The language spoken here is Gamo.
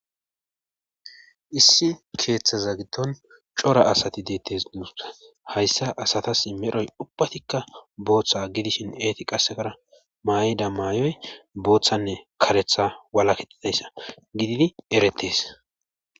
Issi keeththaza gitton cora asati deettes didusa hayssa asatas medhoy ubbatikka booththa gidishin eeti qasekara maayida maayoy booththanne karetha wala kixidayssa gididi eretes